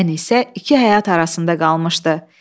Ənisə iki həyat arasında qalmışdı.